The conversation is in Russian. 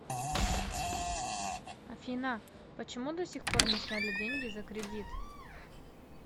афина почему до сих пор не сняли деньги за кредит